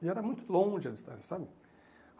E era muito longe a distância, sabe?